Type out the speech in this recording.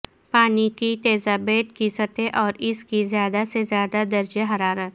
پانی کی تیزابیت کی سطح اور اس کی زیادہ سے زیادہ درجہ حرارت